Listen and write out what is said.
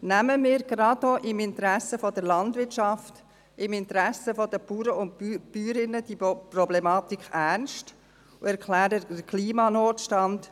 Nehmen wir diese Problematik ernst, gerade auch im Interesse der Landwirtschaft, im Interesse der Bauern und Bäuerinnen, und erklären wir den Klimanotstand.